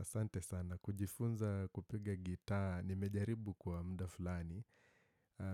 Asante sana. Kujifunza kupiga gitaa. Nimejaribu kwa mda fulani.